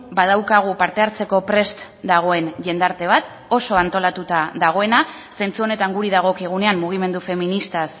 badaukagu parte hartzeko prest dagoen jendarte bat oso antolatuta dagoena zentzu honetan guri dagokigunean mugimendu feministaz